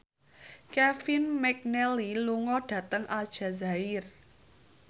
Kevin McNally lunga dhateng Aljazair